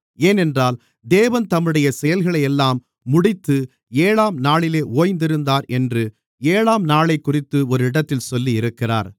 ஏனென்றால் தேவன் தம்முடைய செயல்களையெல்லாம் முடித்து ஏழாம் நாளிலே ஓய்ந்திருந்தார் என்று ஏழாம்நாளைக்குறித்து ஒரு இடத்தில் சொல்லியிருக்கிறார்